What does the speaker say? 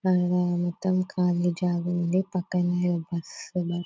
పైన మొత్తం ఖాళీ జాగా ఉంది పక్కనే బస్సు లు --